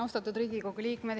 Austatud Riigikogu liikmed!